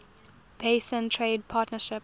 basin trade partnership